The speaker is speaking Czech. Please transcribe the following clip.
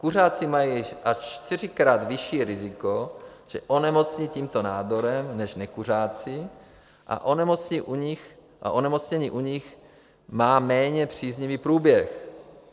Kuřáci mají až čtyřikrát vyšší riziko, že onemocní tímto nádorem, než nekuřáci a onemocnění u nich má méně příznivý průběh.